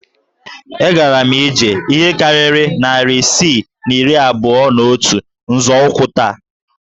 E gara ije ihe karịrị narị isii na iri abụọ na otu nzọụkwụ taa